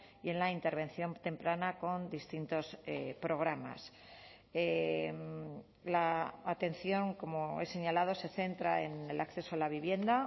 y en la intervención temprana con distintos programas la atención como he señalado se centra en el acceso a la vivienda